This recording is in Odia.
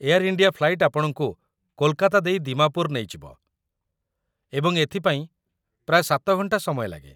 ଏୟାର ଇଣ୍ଡିଆ ଫ୍ଲାଇଟ୍‌‌ ଆପଣଙ୍କୁ କୋଲକାତା ଦେଇ ଦିମାପୁର ନେଇଯିବ ଏବଂ ଏଥିପାଇଁ ପ୍ରାୟ ୭ ଘଣ୍ଟା ସମୟ ଲାଗେ ।